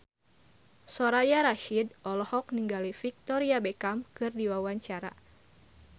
Soraya Rasyid olohok ningali Victoria Beckham keur diwawancara